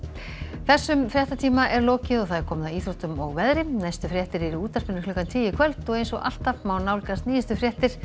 þessum fréttatíma er lokið og komið að íþróttum og veðri næstu fréttir eru í útvarpinu klukkan tíu í kvöld og eins og alltaf má nálgast nýjustu fréttir